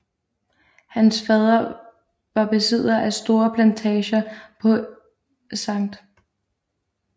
Hans fader var besidder af store plantager på St